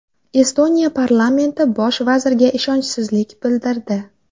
Estoniya parlamenti bosh vazirga ishonchsizlik bildirdi.